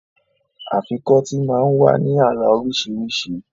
Afikọ́tì máa ń wá ní àrà oríṣiríṣi